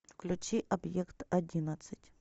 включи объект одиннадцать